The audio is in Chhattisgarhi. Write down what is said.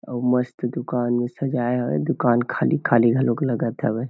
अउ मस्त दुकान सजाया है दुकान खाली खाली घलोक लगत हवे।